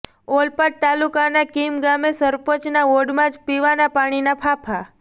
ઓલપાડ તાલુકાના કીમ ગામે સરપંચના વોર્ડમાં જ પીવાના પાણીના ફાંફા